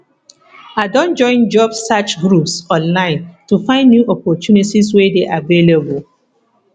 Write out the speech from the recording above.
i don join job search groups online to find new opportunities wey dey available